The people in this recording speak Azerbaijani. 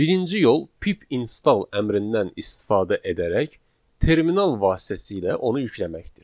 Birinci yol pip install əmrindən istifadə edərək terminal vasitəsilə onu yükləməkdir.